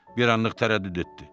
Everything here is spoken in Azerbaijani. Bir anlıq tərəddüd etdi.